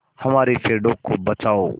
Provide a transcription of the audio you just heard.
हमारे पेड़ों को बचाओ